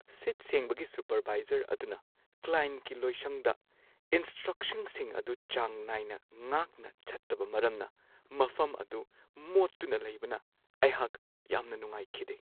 ꯁꯤꯠ-ꯁꯦꯡꯕꯒꯤ supervisor ꯑꯗꯨꯅ ꯀ꯭ꯂꯥꯢꯟꯠꯀꯤ ꯂꯣꯏꯁꯪꯗ ꯏꯟꯁ꯭ꯇ꯭ꯔꯛꯁꯟꯁꯤꯡ ꯑꯗꯨ ꯆꯥꯡ ꯅꯥꯏꯅ ꯉꯥꯛꯅ ꯆꯠꯇꯕ ꯃꯔꯝꯅ ꯃꯐꯝ ꯑꯗꯨ ꯃꯣꯠꯇꯨꯅ ꯂꯩꯕꯅ ꯑꯩꯍꯥꯛ ꯌꯥꯝꯅ ꯅꯨꯡꯉꯥꯏꯈꯤꯗꯦ ꯫